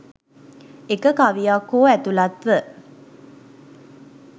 එක කවියක් හෝ ඇතුළත්ව